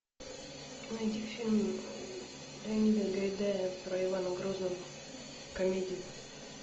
найди фильм леонида гайдая про ивана грозного комедию